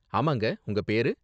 ஆமாங்க, உங்க பேரு?